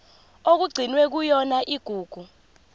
okugcinwe kuyona igugu